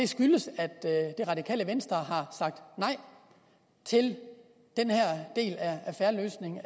skyldes at det radikale venstre har sagt nej til den del af fair løsning